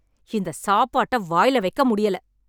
இந்த சாப்பாட்ட வாயில வைக்க முடியல